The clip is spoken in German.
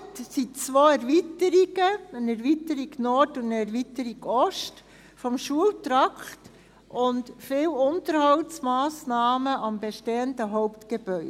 Geplant sind zwei Erweiterungen: eine Erweiterung Nord und eine Erweiterung Ost des Schultrakts, und viele Unterhaltsmassnahmen am bestehenden Hauptgebäude.